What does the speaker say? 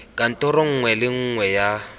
kantoro nngwe le nngwe ya